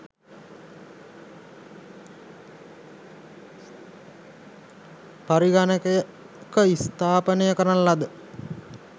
පරිගණකයක ස්ථාපනය කරන ලද